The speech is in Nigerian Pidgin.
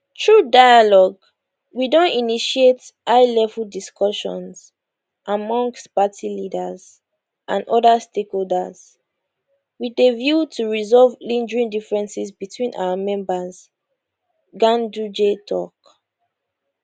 through dialogue we don initiate highlevel discussions amongst party leaders and oda stakeholders wit a view to resolve lingering differences between our members ganduje tok